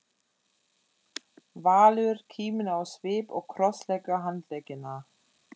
Valur, kíminn á svip og krossleggur handleggina.